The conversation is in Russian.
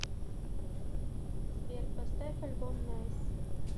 сбер поставь альбом найс